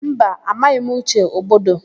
Mba, amaghị m Uche Ogbodo.